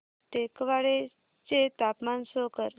टेकवाडे चे तापमान शो कर